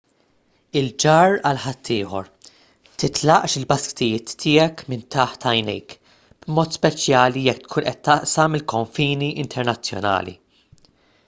il-ġarr għal ħaddieħor titlaqx il-basktijiet tiegħek minn taħt għajnejk b'mod speċjali jekk tkun qed taqsam il-konfini internazzjonali